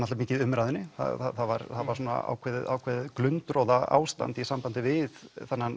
mikið í umræðunni það var var ákveðið ákveðið í sambandið við